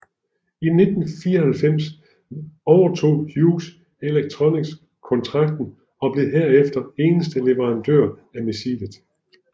I 1994 overtog Hughes Electronics kontrakten og blev herefter eneste leverandør af missilet